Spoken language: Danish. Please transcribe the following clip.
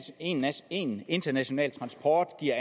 én én international transport giver